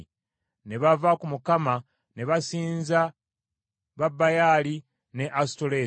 Ne bava ku Mukama ne basinza ba Baali ne Asutoleesi.